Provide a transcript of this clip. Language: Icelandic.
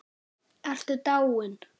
Ertu dáin?